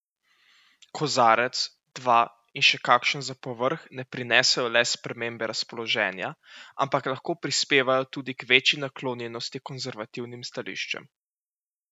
Kozarec, dva in še kakšen za povrh ne prinesejo le spremembe razpoloženja, ampak lahko prispevajo tudi k večji naklonjenosti konservativnim stališčem.